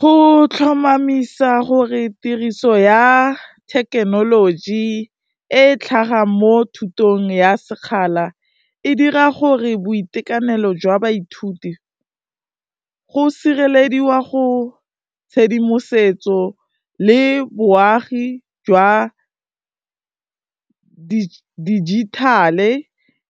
Go tlhomamisa gore tiriso ya thekenoloji e e tlhagang mo thutong ya sekgala e dira gore boitekanelo jwa baithuti go sirelediwa go, tshedimosetso le boagi jwa dijithale,